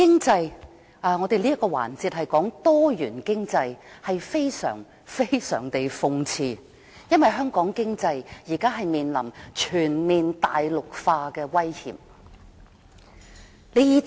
這個環節是討論多元經濟，但非常諷刺的是，香港經濟現正面臨全面大陸化的威脅。